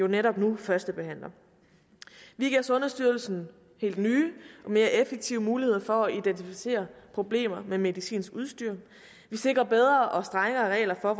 netop nu førstebehandler vi giver sundhedsstyrelsen helt nye og mere effektive muligheder for at identificere problemer med medicinsk udstyr vi sikrer bedre og strengere regler for